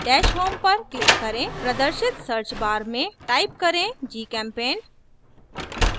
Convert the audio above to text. dash home पर click करें प्रदर्शित search bar में type करें gchempaint